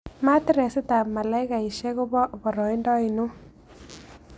Matiireesitap malakaisiek kobo boroindo ainon